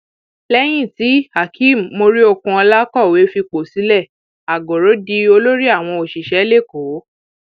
lẹyìn tíhakeem muriokunola kọwé fipò sílẹ àgọrọ di olórí àwọn òṣìṣẹ lẹkọọ